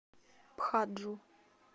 пхаджу